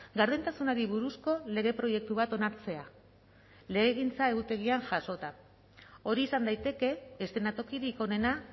gardentasunari buruzko lege proiektu bat onartzea legegintza egutegian jasota hori izan daiteke eszenatokirik onena